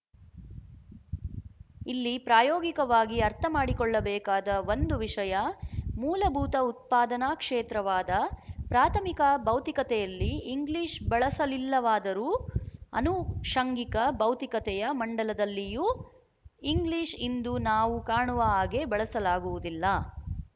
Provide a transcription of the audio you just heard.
ಇಲ್ಲಿ ಪ್ರಾಯೋಗಿಕವಾಗಿ ಅರ್ಥಮಾಡಿಕೊಳ್ಳಬೇಕಾದ ಒಂದು ವಿಶಯ ಮೂಲಭೂತ ಉತ್ಪಾದನಾ ಕ್ಷೇತ್ರವಾದ ಪ್ರಾಥಮಿಕ ಭೌತಿಕತೆಯಲ್ಲಿ ಇಂಗ್ಲಿಶ ಬಳಸಲಿಲ್ಲವಾದರೂ ಅನುಶಂಗಿಕ ಭೌತಿಕತೆಯ ಮಂಡಲದಲ್ಲಿಯೂ ಇಂಗ್ಲೀಶ ಇಂದು ನಾವು ಕಾಣುವ ಹಾಗೆ ಬಳಸಲಾಗುವುದಿಲ್ಲ